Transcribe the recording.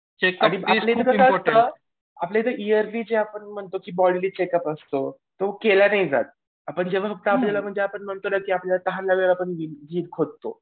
आधी आपल्याकडं काय होतं आपल्याइथं ईयरली आपण जे म्हणतो की चेकअप असतो. तो केला नाही जात. आपण म्हणतो ना की आपल्याला तहान लागल्यावर खोदतो.